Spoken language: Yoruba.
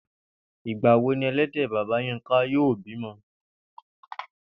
Ìgbà wo ni e̩lé̩dè̩ bàbá Yínká yóò bímo̩?